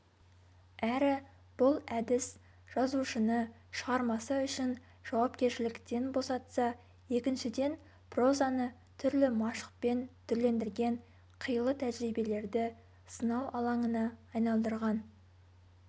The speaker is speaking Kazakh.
әрі бұл әдіс жазушыны шығармасы үшін жауапкершіліктен босатса екіншіден прозаны түрлі машықпен түрлендірген қилы тәжірибелерді сынау алаңына айналдырған